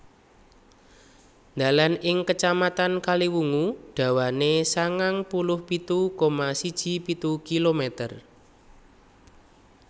Dalan ing Kacamatan Kaliwungu dawane sangang puluh pitu koma siji pitu kilometer